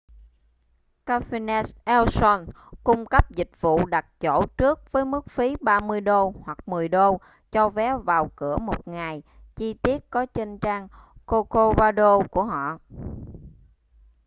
cafenet ei sol cung cấp dịch vụ đặt chỗ trước với mức phí $30 hoặc $10 cho vé vào cửa một ngày chi tiết có trên trang corcovado của họ